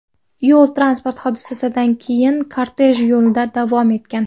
Yo‘l-transport hodisasidan keyin kortej yo‘lida davom etgan.